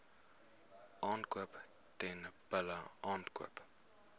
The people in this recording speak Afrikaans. aankoop teelbulle aankoop